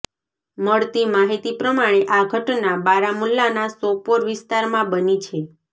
મળતી માહિતી પ્રમાણે આ ઘટના બારામુલ્લાના સોપોર વિસ્તારમાં બની છે